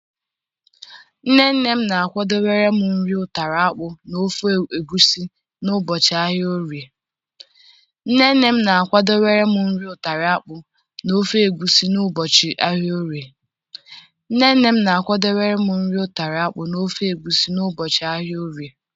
Nne nne m na-akwado wéré m nri utara akpu na ofe egbusi n'ụbọchị ahịa Orie.